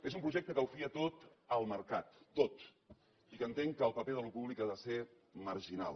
és un projecte que ho fia tot al mercat tot i que entén que el paper d’allò públic ha de ser marginal